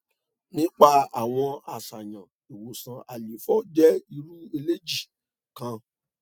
nipa awọn aṣayan iwosan àléfọ jẹ iru aleji kan